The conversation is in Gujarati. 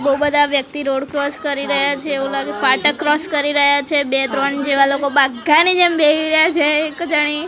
બો બધા વ્યક્તિ રોડ ક્રોસ કરી રહ્યા છે એવું લાગે ફાટક ક્રોસ કરી રહ્યા છે બે ત્રણ જેવા લોકો બાઘાની જેમ બેહી રહ્યા છે એક જાણી--